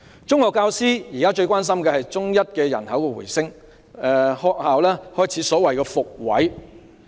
中學教師現時最關心的是中一的人口回升，學校開始所謂的"復位"。